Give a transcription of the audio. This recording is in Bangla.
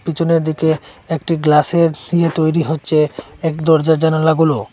পিছনের দিকে একটি গ্লাসের দিয়ে তৈরি হচ্ছে দরজা জানালাগুলো।